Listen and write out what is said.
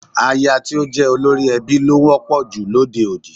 Aya tí ó jẹ́ olórí ẹbí ló wọ́pọ̀ jù lóde òní